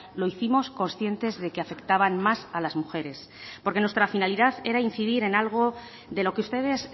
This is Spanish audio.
lo hicimos conscientes de que afectaban más a las mujeres porque nuestra finalidad eran incidir en algo de lo que ustedes